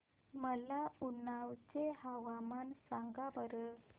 मला उन्नाव चे हवामान सांगा बरं